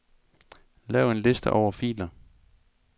Lav en liste over filer.